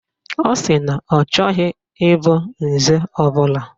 Ọ sị na ọ chọghị ịbụ nze ọbụla